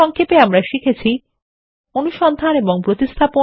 সংক্ষেপে আমরা শিখেছি অনুসন্ধান এবং প্রতিস্থাপন